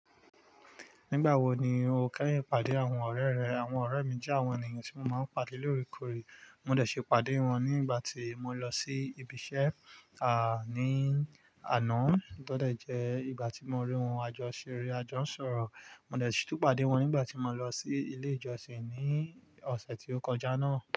Nígbà wo ni o kẹ́yìn pàdé àwọn ọ̀rẹ́ rẹ? Àwọn ọ̀rẹ́ mi jẹ́ àwọn ènìyàn tí mo máa ń pàdé lóòrèkóòrè. Mo dẹ̀ ṣi pàdé wọn ní ìgbà tí mo lọ sí ibi iṣẹ́, à ní àno, to de jẹ́ ìgbà tí mo rí wọn, àjọ ṣeré, àjọ n sọ̀rọ̀. Mo dẹ̀ si tún pàdé wọn nígbà tí mo lọ sí ilé ìjọsìn ní ọ̀sẹ̀ tí ó kọjá náà.